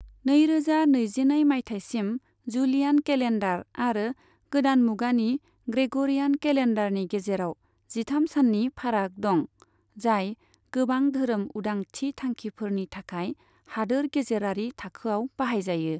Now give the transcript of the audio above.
नैरोजा नैजिनै मायथाइसिम, जुलियान केलेन्डार आरो गोदान मुगानि ग्रेग'रियान केलेन्डारनि गेजेराव जिथाम सान्नि फाराग दं, जाय गोबां धोरोम उदांथि थांखिफोरनि थाखाय हादोर गेजेरारि थाखोआव बाहायजायो।